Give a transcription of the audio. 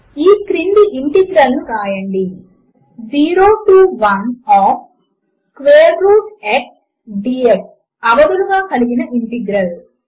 ఈ క్రింది ఇంటిగ్రల్ ను వ్రాయండి 0 to 1 of square root x dx అవధులుగా కలిగిన ఇంటిగ్రల్